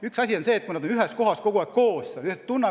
Üks asi on see, kui inimesed on kogu aeg ühes majas koos ja üksteist tunnevad.